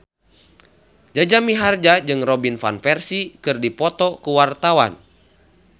Jaja Mihardja jeung Robin Van Persie keur dipoto ku wartawan